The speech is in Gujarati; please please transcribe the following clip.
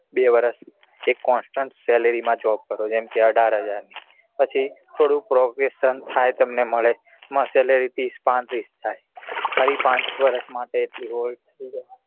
બે વર્ષ એક constant salary માં job કરતો જેમ કે અઢાર હજાર પ્પવ્હી થોડુ થાય તમને મળે માં salary ત્રીસ પાંત્રીસ થય ફરી પાંચ વર્ષ માટે એટલી હોય